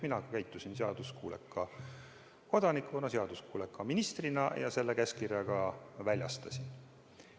Mina käitusin seaduskuuleka kodanikuna, seaduskuuleka ministrina ja selle käskkirja ka väljastasin.